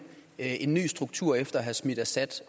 en ny struktur efter at have smidt assad